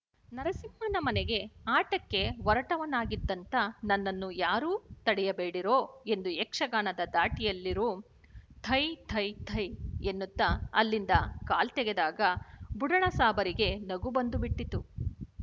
ನರಸಿಂಹನ ಮನೆಗೆ ಆಟಕ್ಕೆ ಹೊರಟವನಾಗಿದ್ದಂಥ ನನ್ನನ್ನು ಯಾರೂ ತಡೆಯಬೇಡಿರೋ ಎಂದು ಯಕ್ಷಗಾನದ ಧಾಟಿಯಲ್ಲುರುಹಿ ಥೈ ಥೈ ಥೈ ಎನ್ನುತ್ತ ಅಲ್ಲಿಂದ ಕಾಲ್ತೆಗೆದಾಗ ಬುಡಣಸಾಬರಿಗೆ ನಗು ಬಂದುಬಿಟ್ಟಿತು